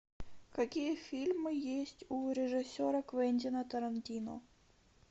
какие фильмы есть у режиссера квентина тарантино